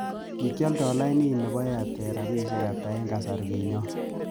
kikyolnda laini nepo airtel rabisiek ata kasarigonyen